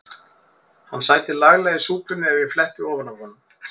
Hann sæti laglega í súpunni ef ég fletti ofan af honum.